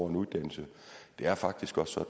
en uddannelse det er faktisk også